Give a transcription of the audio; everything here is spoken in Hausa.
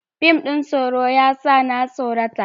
Fim ɗin tsoro ya sa na tsorata.